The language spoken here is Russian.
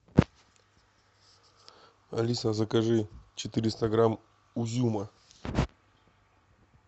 алиса закажи четыреста грамм узюма